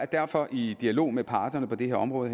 derfor i dialog med parterne på det her område